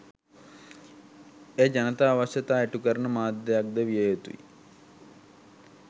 එය ජනතා අවශ්‍යතා ඉටුකරන මාධ්‍යයක් ද විය යුතුයි